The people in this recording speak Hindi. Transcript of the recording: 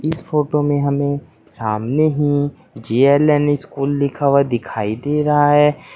इस फोटो में हमें सामने ही जे_एल_एन स्कूल लिखा हुआ दिखाई दे रहा है।